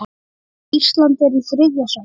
Ísland er í þriðja sæti.